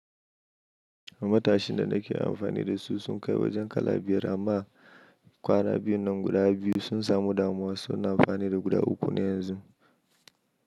Matashin da nake amfani da su sun kai wajen kala biyar amma kwana biyun nan guda biyu sun samu damuwa. Su na amfani da guda uku ne yanzu.